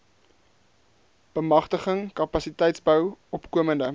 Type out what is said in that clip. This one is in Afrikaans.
bemagtiging kapasiteitsbou opkomende